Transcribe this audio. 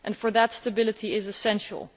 For that, stability is essential.